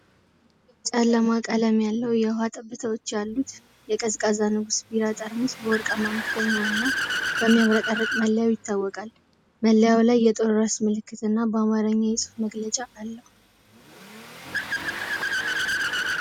ጨለማ ቀለም ያለው፣ የውሃ ጠብታዎች ያሉት የቀዝቃዛ "ንጉስ" ቢራ ጠርሙስ በወርቃማ መክደኛውና በሚያብረቀርቅ መለያው ይታወቃል። መለያው ላይ የጦር ራስ ምልክትና በአማርኛ የጽሑፍ መግለጫ አለው።